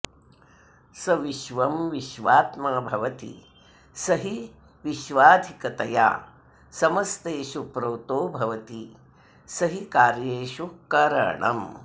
स विश्वं विश्वात्मा भवति स हि विश्वाधिकतया समस्तेषु प्रोतो भवति स हि कार्येषु करणम्